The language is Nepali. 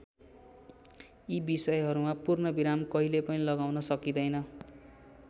यी विषयहरूमा पूर्ण विराम कहिले पनि लगाउन सकिँदैन।